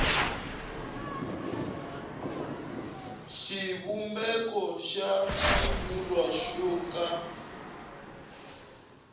xivumbeko xa xivulwa xo ka